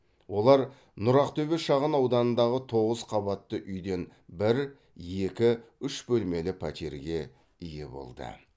олар нұр ақтөбе шағын ауданындағы тоғыз қабатты үйден бір екі үш бөлмелі пәтерге ие болды